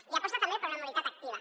i aposta també per una mobilitat activa